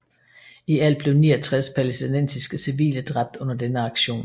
I alt blev 69 palæstinensiske civile dræbt under denne aktion